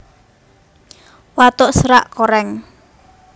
Watuk serak korèng